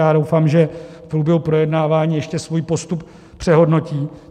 Já doufám, že v průběhu projednávání ještě svůj postup přehodnotí.